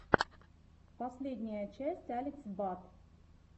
последняя часть алекс бад